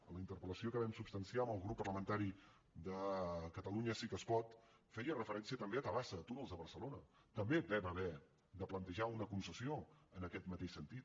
en la interpel·lació que vam substanciar al grup parlamentari de catalunya sí que es pot es feia referència també a tabasa a túnels de barcelona també vam haver de plantejar una concessió en aquest mateix sentit